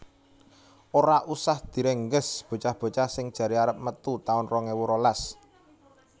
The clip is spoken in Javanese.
Ora usah direngges bocah bocah sing jare arep metu taun rong ewu rolas